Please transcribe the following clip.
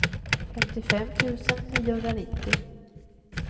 femtiofem tusen niohundranittio